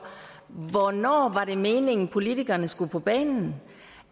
hvornår var det meningen politikerne skulle på banen